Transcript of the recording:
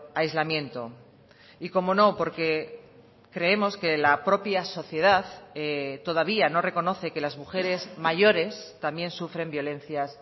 aislamiento y cómo no porque creemos que la propia sociedad todavía no reconoce que las mujeres mayores también sufren violencias